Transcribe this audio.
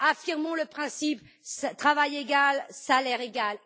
Affirmons le principe à travail égal, salaire égal.